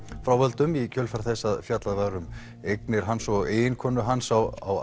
frá völdum í kjölfar þess að fjallað var um eignir hans og eiginkonu hans á